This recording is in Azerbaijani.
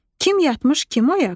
Kim yatmış, kim oyaq?